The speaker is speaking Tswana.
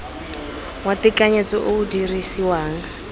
wa tekanyetso o o dirisiwang